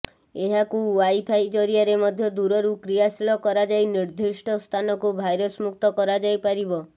ଏହାକୁ ଓ୍ବାଇଫାଇ ଜରିଆରେ ମଧ୍ୟ ଦୂରରୁ କ୍ରିୟାଶୀଳ କରାଯାଇ ନିର୍ଦ୍ଦିଷ୍ଟ ସ୍ଥାନକୁ ଭାଇରସ୍ ମୁକ୍ତ କରାଯାଇପାରିବ